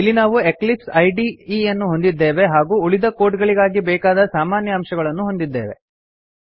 ಇಲ್ಲಿ ನಾವು here we have the eclipse ಇದೆ and the skeleton required for the rest of the code